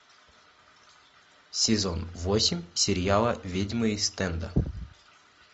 сезон восемь сериала ведьмы ист энда